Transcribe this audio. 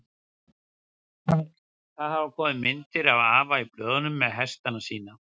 Það hafa komið myndir af afa í blöðunum með hestana sína.